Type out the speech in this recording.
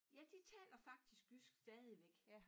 Ja de taler faktisk jysk stadigvæk